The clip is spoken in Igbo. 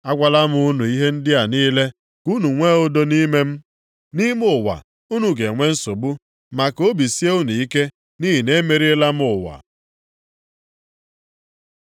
“Agwala m unu ihe ndị a niile ka unu nwee udo nʼime m. Nʼime ụwa, unu ga-enwe nsogbu. Ma ka obi sie unu ike, nʼihi na emeriela m ụwa.”